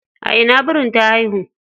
A ina birin ta haihu?